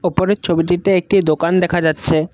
উপরের ছবিটিতে একটি দোকান দেখা যাচ্ছে।